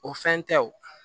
O fɛn tɛ o